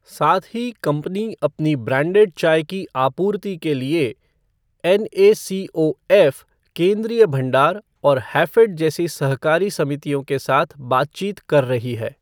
साथ ही कंपनी अपनी ब्रांडेड चाय की आपूर्ति के लिए एनएसीओएफ़, केंद्रीय भंडार और हैफ़ेड जैसी सहकारी समितियों के साथ बातचीत कर रही है।